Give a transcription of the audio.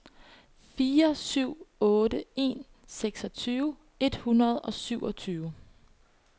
fire syv otte en seksogtyve et hundrede og syvogtyve